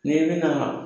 N'i bɛna